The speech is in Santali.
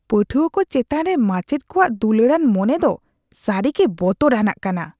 ᱯᱟᱹᱴᱷᱩᱣᱟᱹ ᱠᱚ ᱪᱮᱛᱟᱱ ᱨᱮ ᱢᱟᱪᱮᱫ ᱠᱚᱣᱟᱜ ᱫᱩᱞᱟᱹᱲᱟᱱ ᱢᱚᱱᱮ ᱫᱚ ᱥᱟᱹᱨᱤᱜᱮ ᱵᱚᱛᱚᱨᱟᱱᱟᱜ ᱠᱟᱱᱟ ᱾